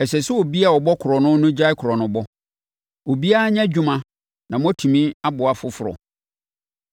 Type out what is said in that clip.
Ɛsɛ sɛ obi a ɔbɔ korɔno no gyae korɔnobɔ. Obiara nyɛ adwuma na moatumi aboa afoforɔ.